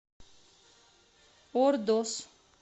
ордос